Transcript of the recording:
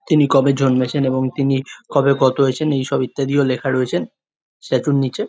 তিনি কবে জন্মেছেন এবং তিনি কবে গত হয়েছেন এই সব ইত্যাদি ও লেখা রয়েছে সেতুর নীচে।